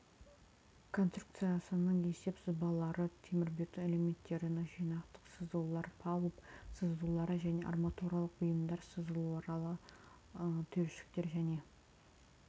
конструкциясының есеп сызбалары темірбетон элементтерінің жинақтық сызулары палуб сызулары және арматуралық бұйымдар сызулары түйіршіктер және